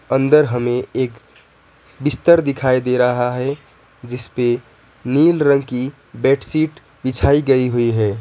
अंदर हमें एक बिस्तर दिखाई दे रहा है जिसपे नीला रंग की बेडशीट बिछाई गई हुई है।